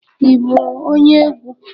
Ị bụ onye egwu?